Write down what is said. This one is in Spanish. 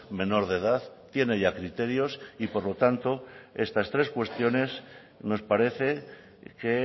menor de edad tiene ya criterios y por lo tanto estas tres cuestiones nos parece que